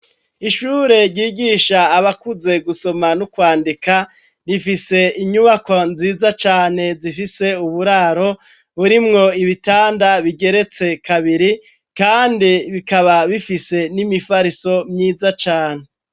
Ishure ryigisha abakuze gusoma no kwandika ,rifise inyubako nziza cane zifise uburaro burimwo ibitanda bigeretse kabiri kandi bikaba bifise n'imifariso myiza cane.